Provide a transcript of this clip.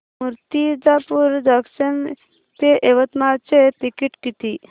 Murtijapur junction ते यवतमाळ चे ticket किती